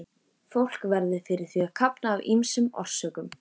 Fólk verður fyrir því að kafna af ýmsum orsökum.